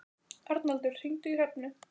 Arnaldur, hringdu í Hrefnu.